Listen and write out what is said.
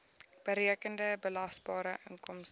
berekende belasbare inkomste